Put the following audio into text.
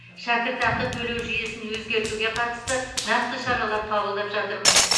шәкіртақы төлеу жүйесін өзгертуге қатысты нақты шаралар қабылдап жатырмыз